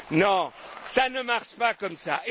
Non, ça ne marche pas comme